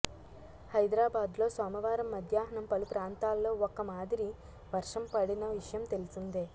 హైదరాబాద్లో సోమవారం మధ్యాహ్నం పలు ప్రాంతాల్లో ఒక మాదిరి వర్షం పడిన విషయం తెలిసిందే